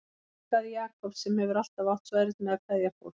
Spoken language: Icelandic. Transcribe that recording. Ég huggaði Jakob sem hefur alltaf átt svo erfitt með að kveðja fólk.